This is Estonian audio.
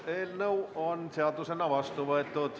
Eelnõu on seadusena vastu võetud.